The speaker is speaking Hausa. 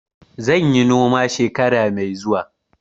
Zan yi noma shekara mai zuwa.